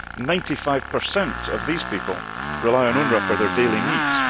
Ninety five percent of these people rely on UNRWA for their daily needs.